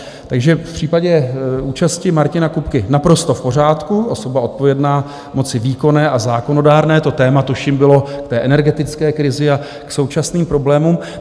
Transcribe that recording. Takže v případě účasti Martina Kupky naprosto v pořádku, osoba odpovědná moci výkonné a zákonodárné, to téma, tuším bylo k té energetické krizi a k současným problémům.